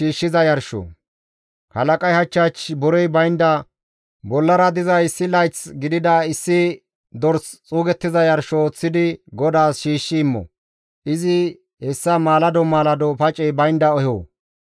« ‹Halaqay hach hach borey baynda bollara diza issi layththa gidida issi dorsa xuuggiza yarsho ooththidi GODAAS shiishshi immo; izi hessa maalado maalado pacey baynda eho.